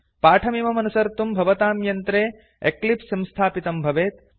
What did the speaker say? पाठमिमम् अनुसर्तुं भवतां यन्त्रे एक्लिप्स् संस्थापितं भवेत्